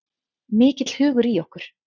Mikill hugur í okkur